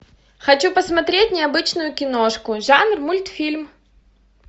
хочу посмотреть необычную киношку жанр мультфильм